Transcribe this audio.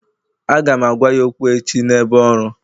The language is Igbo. Aga m agwa ya okwu echi n'ebe ọrụ